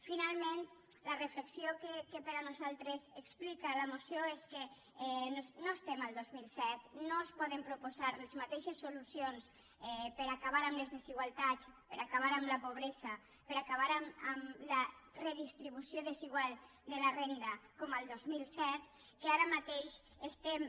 finalment la reflexió que per nosaltres explica la moció és que no estem al dos mil set no es poden proposar les mateixes solucions per a acabar amb les desigualtats per a acabar amb la pobresa per a acabar amb la redistribució desigual de la renda com el dos mil set que ara mateix estem